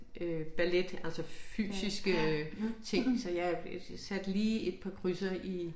Øh ballet altså fysiske ting så jeg satte lige et par krydser i